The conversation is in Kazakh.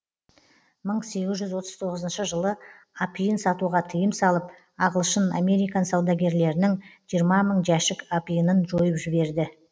мың сегіз жүз отыз тоғызыншы жылы апиын сатуға тыйым салып ағылшын американ саудагерлерінің жиырма мың жәшік апиынын жойып жіберді